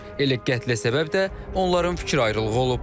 Elə qətlə səbəb də onların fikir ayrılığı olub.